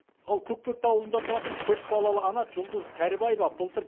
ал көкпекті ауылында тұратын көпбалалы ана жұлдыз кәрібаева былтыр